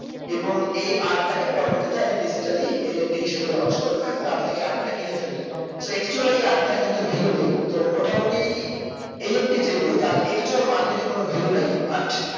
এবং এই art তাকে আমি পরবর্তীতে আমি digitalyNFT হিসাবে lauch করবো এবং আপনি এই art টা কিনে ফেল্লেন so actual এই art টার কিন্তু value নেই তো মোটামুটি NFT যে গুলো তার actual market এ কোনো value নেই